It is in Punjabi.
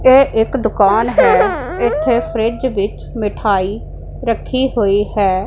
ਇਹ ਇੱਕ ਦੁਕਾਨ ਹੈ ਇਥੇ ਫਰਿਜ ਵਿੱਚ ਮਿਠਾਈ ਰੱਖੀ ਹੋਈ ਹੈ।